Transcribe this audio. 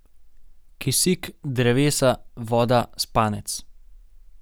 Kisik, drevesa, voda, spanec...